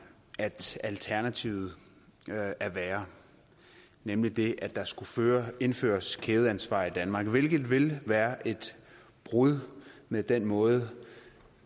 at alternativet er værre nemlig det at der skulle indføres et kædeansvar i danmark hvilket ville være et brud med den måde